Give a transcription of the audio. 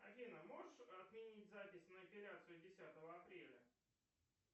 афина можешь отменить запись на эпиляцию десятого апреля